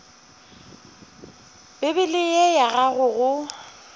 bibele ye ya gago go